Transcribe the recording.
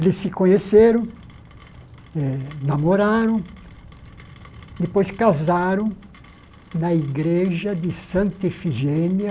Eles se conheceram, eh namoraram, depois casaram na igreja de Santa Efigênia,